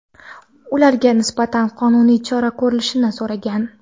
ularga nisbatan qonuniy chora ko‘rilishini so‘ragan.